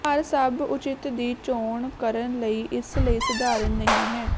ਪਰ ਸਭ ਉਚਿਤ ਦੀ ਚੋਣ ਕਰਨ ਲਈ ਇਸ ਲਈ ਸਧਾਰਨ ਨਹੀ ਹੈ